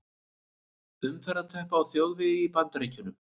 Umferðarteppa á þjóðvegi í Bandaríkjunum.